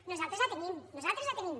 nosaltres la tenim nosaltres la tenim